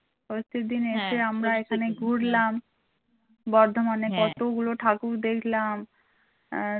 ষষ্ঠীর দিনে এসে আমরা এখানে ঘুরলাম বর্ধমানে কতগুলো ঠাকুর দেখলাম